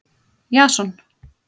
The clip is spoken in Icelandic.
Jason